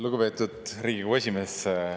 Lugupeetud Riigikogu esimees!